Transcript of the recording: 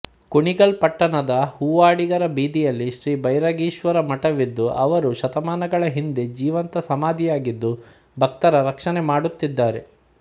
ಕುಣಿಗಲ್ ಪಟ್ಟಣದ ಹೂವಾಡಿಗರ ಬೀದಿಯಲ್ಲಿ ಶ್ರೀ ಭೈರಾಗೀಶ್ವರ ಮಠವಿದ್ದು ಅವರು ಶತಮಾನಗಳ ಹಿಂದೆ ಜೀವಂತ ಸಮಾಧಿಯಾಗಿದ್ದು ಭಕ್ತರ ರಕ್ಷಣೆ ಮಾಡುತ್ತಿದ್ದಾರೆ